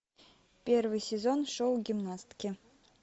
первый сезон шоу гимнастки